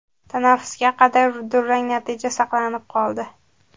Tanaffusga qadar durang natija saqlanib qoldi.